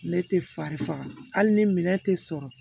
Ne tɛ fari faga hali ni minɛn tɛ sɔrɔ